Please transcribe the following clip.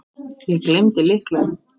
Ég gleymdi lyklunum.